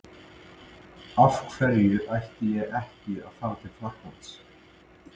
Af hverju ætti ég ekki að fara til Frakklands?